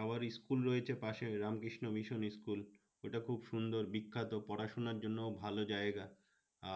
আবার school রয়েছে পাশে রামকৃষ্ণ মিশন স্কুল। ঐটা খুব সুন্দর বিখ্যাত। পড়াশোনার জন্য ভালো জায়গা।